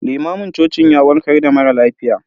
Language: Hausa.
Limamin cocin ya warkar da mara lafiya.